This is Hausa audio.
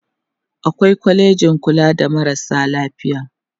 awai kwalejin kula da marasa lafiya